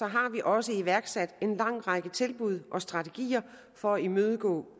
har vi også iværksat en lang række tilbud og strategier for at imødegå